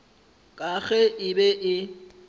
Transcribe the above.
ka ge e be e